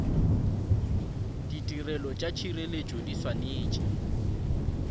ditirelo tša tšhireletšo di swanetše